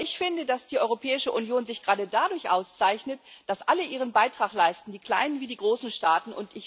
Aber ich finde, dass die Europäische Union sich gerade dadurch auszeichnet, dass alle ihren Beitrag leisten, die kleinen wie die großen Staaten.